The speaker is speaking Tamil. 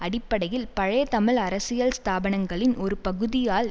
அடிப்படையில் பழைய தமிழ் அரசியல் ஸ்தாபனங்களின் ஒரு பகுதியால்